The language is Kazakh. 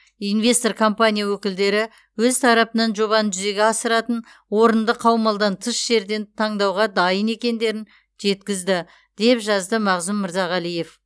инвестор компания өкілдері өз тарапынан жобаны жүзеге асыратын орынды қаумалдан тыс жерден таңдауға дайын екендерін жеткізді деп жазды мағзұм мырзағалиев